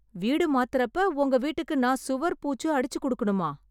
வீடு மாத்தறப்ப உங்க வீட்டுக்கு நா சுவர் பூச்சு அடிச்சு கொடுக்கணுமா?